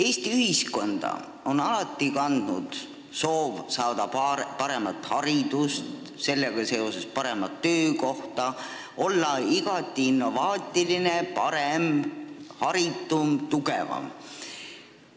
Eesti ühiskonda on alati kandnud soov saada paremat haridust, sellega seoses paremat töökohta, olla igati innovaatiline, parem, haritum, tugevam.